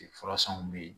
Furasanw bɛ yen